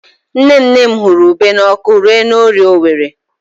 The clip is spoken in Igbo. Nne nne m hụrụ ube n'ọkụ ree na Orie Owerri.